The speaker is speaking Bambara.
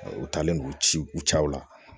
U taalen don u ci u cɛw la